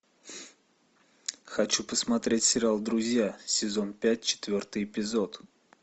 хочу посмотреть сериал друзья сезон пять четвертый эпизод